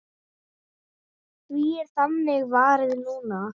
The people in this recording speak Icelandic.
Því er þannig varið núna.